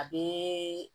A bɛ